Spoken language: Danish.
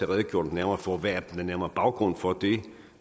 redegjort nærmere for hvad den nærmere baggrund er for det